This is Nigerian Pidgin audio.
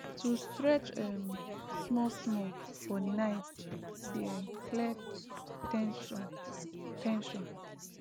to stretch um smallsmall for night dey um clear ten sion ten sion